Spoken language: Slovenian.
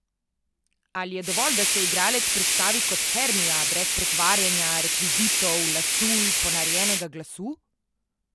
Ali je dovolj, da se igralec predstavi kot Hermija, brez pretvarjanja, rekvizitov, lasulj, ponarejenega glasu?